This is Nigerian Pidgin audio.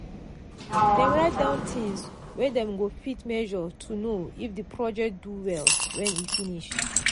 dem write down things wey dem go fit measure to know if the project do well when e finish.